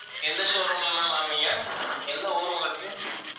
எந்த showroom ல ma'am வாங்கனீங்க? எந்த ஊர் உங்களுக்கு?